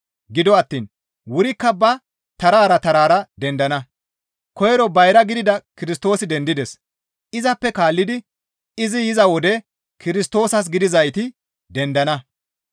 Gido attiin wurikka ba tarara tarara dendana; koyro bayra gidida Kirstoosi dendides; izappe kaallidi izi yiza wode Kirstoosas gidizayti dendana.